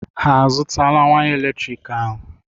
Ha azụtala waya eletrik ahụ?